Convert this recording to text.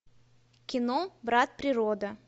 кино брат природа